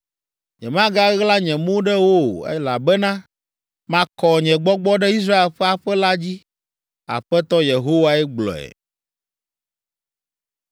Nyemagaɣla nye mo ɖe wo o, elabena makɔ nye Gbɔgbɔ ɖe Israel ƒe aƒe la dzi.’ Aƒetɔ Yehowae gblɔe.”